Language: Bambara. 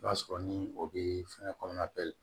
I b'a sɔrɔ ni o bɛ fɛngɛ kɔnɔna bɛɛ